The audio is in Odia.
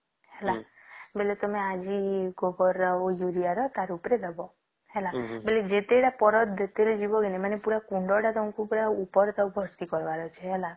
ହେଲା ବୋଇଲେ ତମେ ଆଜି ଗୋବର ର ଆଉ ୟୁରିଆ ର ତାର ଉପରେ ଦବ ହେଲା ବୋଲେ ଯେତେ ଟା ପାରଦ ଯିବା ମାନେ କୁଣ୍ଡ ଟା ତମକୁ ପୁରା ଟା ଉପେର ତକ ଭର୍ତି କରିବର ଅଛି ହେଲା